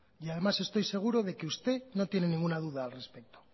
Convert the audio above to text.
además estoy seguro de que usted no tiene ninguna duda al respecto